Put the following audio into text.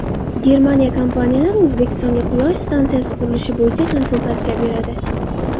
Germaniya kompaniyalari O‘zbekistonga quyosh stansiyasi qurilishi bo‘yicha konsultatsiya beradi.